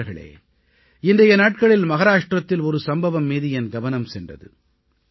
நண்பர்களே இன்றைய நாட்களில் மஹாராஷ்ட்ரத்தில் ஒரு சம்பவம் மீது என் கவனம் சென்றது